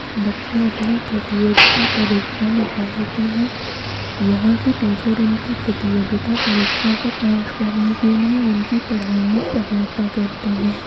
बच्चे अपना प्रतियोगिता परीक्षा निकालते हैं यहां की टीचर उनकी प्रतियोगिता परीक्षा को पास करने के लिए उनकी पढ़ाई में सहायता करते हैं।